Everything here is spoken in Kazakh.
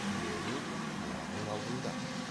тілегің талабың алдыңда